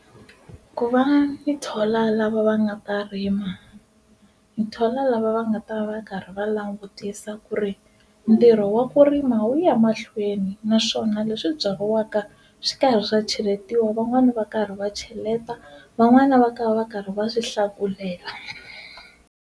Ku va ni thola lava va nga ta rima ni thola lava va nga ta va va karhi va langutisa ku ri ntirho wa ku rima wu ya mahlweni naswona leswi byariwaka swa karhi swa cheletiwa van'wani va karhi va cheleta van'wani va ka va va karhi va swi hlakulela.